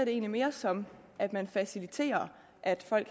egentlig mere som at man faciliterer at folk